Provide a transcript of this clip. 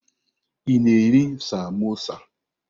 Ị na-eri samosa?